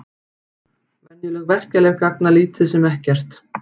Venjuleg verkjalyf gagna lítið sem ekkert.